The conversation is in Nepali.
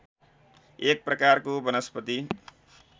एक प्रकारको वनस्पति